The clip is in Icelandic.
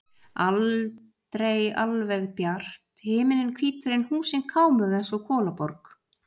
Aldrei alveg bjart, himinninn hvítur en húsin kámug eins og í kolaborg.